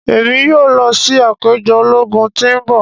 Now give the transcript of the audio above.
Emi yoo lọ si apejọ ologun ti n bọ.